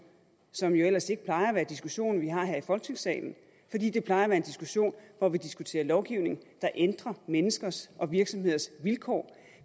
som jo ellers ikke plejer at være diskussioner vi har her i folketingssalen fordi det plejer at være diskussioner hvor vi diskuterer lovgivning der ændrer menneskers og virksomheders vilkår